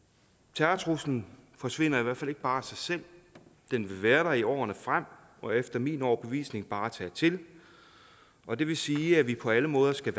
terrortruslen forsvinder i hvert fald ikke bare af sig selv den vil være der i årene frem og efter min overbevisning bare tage til og det vil sige at vi på alle måder skal